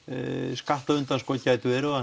skattaundanskot geta verið og